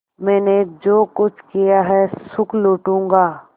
मैंने जो कुछ किया है सुख लूटूँगा